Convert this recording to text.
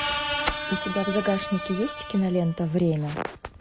у тебя в загашнике есть кинолента время